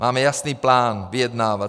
Máme jasný plán vyjednávat.